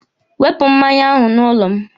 Wepụ mmanya ahụ n'ụlọ m!